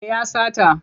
Me ya sata?